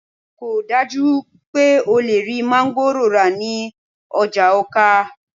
kò dájú pé o lè rí máńgòrò rà ní ọjà Awka